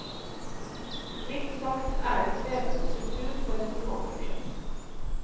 Mildt sagt er det en krevende struktur for et romanprosjekt.